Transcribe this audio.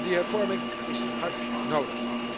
En die hervorming is hard nodig.